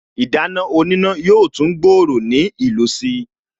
Ìdáná oníná yóò tún gbòòrò ní ìlò si